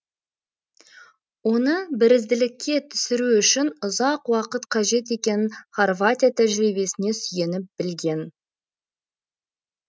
оны бірізділікке түсіру үшін ұзақ уақыт қажет екенін хорватия тәжірибесіне сүйеніп білген